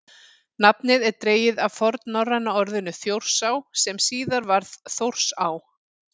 nafnið er dregið af fornnorræna orðinu „þjórsá“ sem síðar varð „þórsá“